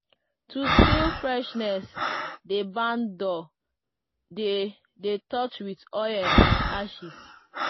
to seal freshness di barn door dey dey touched with oil and ashes.